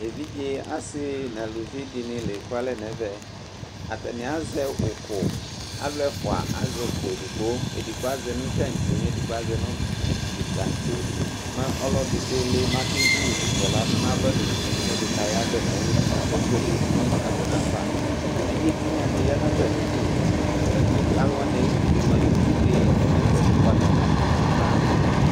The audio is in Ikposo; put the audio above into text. Evidze asɩ neluvi dɩnɩ lekualɛ nɛvɛAtanɩ azɛ ʊkʊ,alʋ ɛfʋa azɛ ʋkʋ edigbo, edigbo azɛ nʋ tatse mɛ ɛdɩ bɩ azɛ nʋ tatse Mɛ ɔlɔdɩ dʋ ɩɩlɩ,mɛ akevu ʋkʋ ladʋ nava nuti mɛ ɛdɩ kayavɛ nayili kakebuele kinyesɛ abʋɛ nafaEvidze tɩnya dɩ ya natamidu, alʋ wanɩ ayidu bɩ mʋa, itsu dɩ kɔ nɛfɛ kʋgbata nabʋ nayava